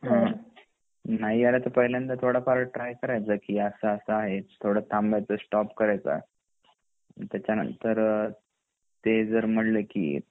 नाही आला तर पहिल्यांदा थोडाफार ट्राय करायचं असा असा आहे थोडा थांबायचा स्टॉप करायचं आणि त्याचा नंतर ते जर म्हणले की